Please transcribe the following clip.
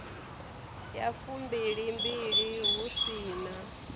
ya fumbilimbili hu si na